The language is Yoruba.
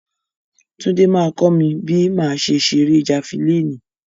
Túndé máa kọ́ mi bí màá ṣe ṣeré jafilínì.